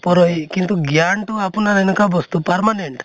পুৰহি কিন্তু জ্ঞানটো আপোনাৰ এনেকুৱা বস্তু permanent